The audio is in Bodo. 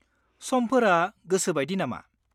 -समफोरा गोसोबायदि नामा?